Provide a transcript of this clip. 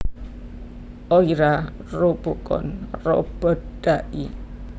Oira Robocon Robot dai